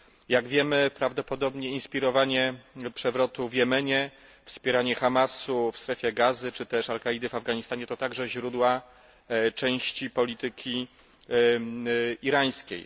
Jak wiemy, prawdopodobnie inspirowanie przewrotu w Jemenie, wspieranie Hamasu w Strefie Gazy czy też Al Kaidy w Afganistanie to także źródła części polityki irańskiej.